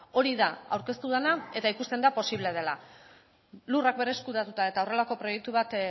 hori da aurkeztu dena eta ikusten da posible dela lurrak berreskuratuta eta horrelako proiektu bat